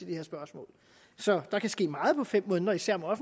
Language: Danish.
det her spørgsmål så der kan ske meget på fem måneder især når